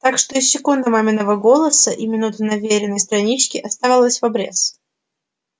так что и секунд маминого голоса и минут на вериной страничке оставалось в обрез